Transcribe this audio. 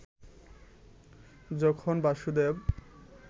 যখন বাসুদেব